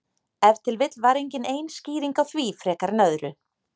Ef til vill var engin ein skýring á því frekar en öðru.